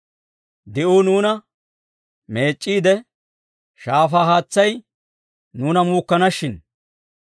Di'uu nuuna meec'c'iide; shaafaa haatsay nuuna muukkana shin;